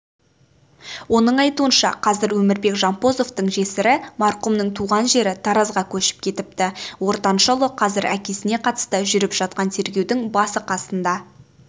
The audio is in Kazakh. оның айтуынша қазір өмірбек жампозовтың жесірі марқұмның туған жері таразға көшіп кетіпті ортаншы ұлы қазір әкесіне қатысты жүріп жатқан тергеудің басы-қасында